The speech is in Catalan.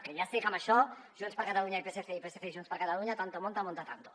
que ja sé que en això junts per catalunya i psc i psc i junts per catalunya tanto monta monta tanto